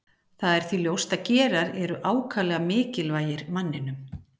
það er því ljóst að gerar eru ákaflega mikilvægir manninum